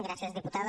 gràcies diputada